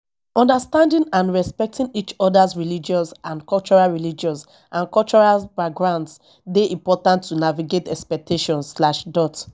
understanding and respecting each other's religious and cultural religious and cultural backgrounds dey important to navigate expectations slash dot